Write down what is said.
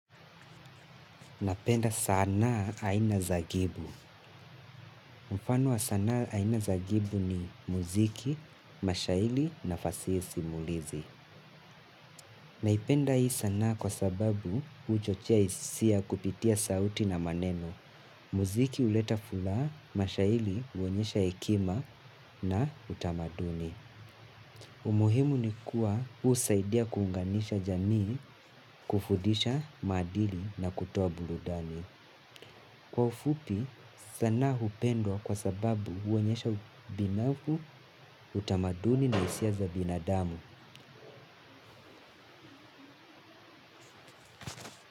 Napenda sanaa aina za gibu. Mfano wa sanaa aina za gibu ni muziki, mashairi na fasihi simulizi. Naipenda hii sanaa kwa sababu uchochea hisia kupitia sauti na maneno. Muziki huleta furaha, mashairi huonyesha hekima na utamaduni. Umuhimu ni kuwa huu husaidia kuunganisha jamii kufundisha maadili na kutua burudani. Kwa ufupi sanaa hupendwa kwa sababu huonyesha ubunifu utamaduni na hisia za binadamu.